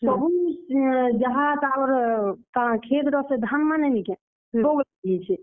କାଣା ଖେତ୍ ର ସେ ଧାନମାନେ ନି କେଁ, ପୋକ ଲାଗି ଯାଇଛେ।